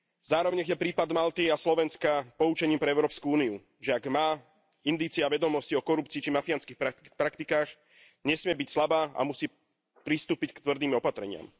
Zároveň nech je prípad Malty a Slovenska poučením pre Európsku úniu, že ak má indície a vedomosti o korupcii či mafiánskych praktikách, nesmie byť slabá a musí pristúpiť k tvrdým opatreniam.